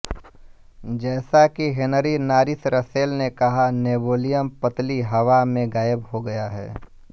जैसा कि Henry Norris Russell ने कहा नेबुलियम पतली हवा में गायब हो गया है